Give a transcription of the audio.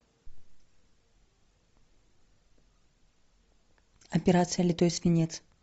операция литой свинец